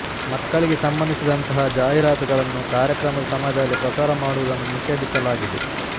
ಮಕ್ಕಳಿಗೆ ಸಂಬಧಿಸಿದಂತಹ ಜಾಹೀರಾತುಗಳನ್ನು ಕಾರ್ಯಕ್ರಮದ ಸಮಯದಲ್ಲಿ ಪ್ರಸಾರ ಮಾಡುವುದನ್ನು ನಿಷೇಧಿಸಲಾಗಿದೆ